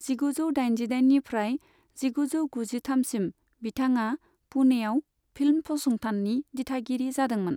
जिगुजौ दाइजिदाइननिफ्राय जिगुजौ गुजिथामसिम बिथाङा पुणेआव फिल्म फसंथाननि दिथागिरि जादोंमोन।